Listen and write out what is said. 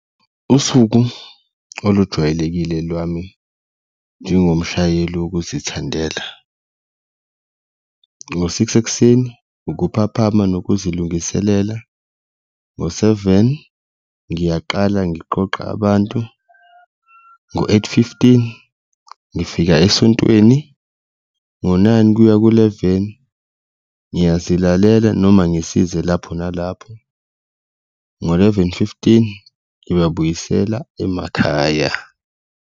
Usuku olujwayelekile lwami njengomshayeli wokuzithandela ngo-six ekuseni, ukuphaphamisa nokuzilungisela, ngo-seven ngiyaqala ngiqoqa abantu, ngo-eight fifteen ngifika esontweni, ngo-nine kuya ku-eleven ngiyazilalela noma ngisize lapho nalapho ngo-eleven fifteen ngibabuyisela emakhaya.